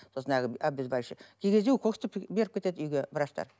сосын әлгі обезбаливающий кей кезде укол істеп беріп кетеді үйге врачтар